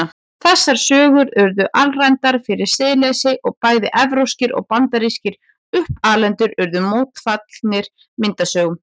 Þessar sögur urðu alræmdar fyrir siðleysi og bæði evrópskir og bandarískir uppalendur urðu mótfallnir myndasögum.